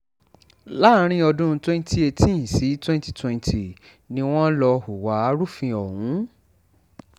láàrin ọdún twenty eighteen sí twenty twenty ni wọ́n lọ hùwà arúfin ọ̀hún